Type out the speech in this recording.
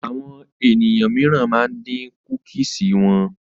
Àwọn ènìyàn míìràn ma ń dín kúkìsì wọn